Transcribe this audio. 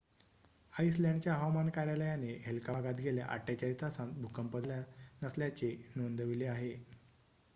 आइसलँडच्या हवामान कार्यालयाने हेल्का भागात गेल्या ४८ तासांत भूकंप झाला नसल्याचेही नोंदवले आहे